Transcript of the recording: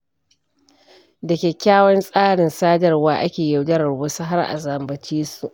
Da kyakykyawan tsarin sadarwa ake yaudarar wasu har a zambace su.